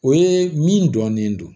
O ye min dɔnnen don